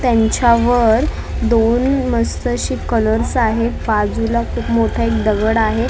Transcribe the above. त्यांच्यावर दोन मस्त अशे कलर्स आहेत बाजूला खूप मोठा एक दगड आहे .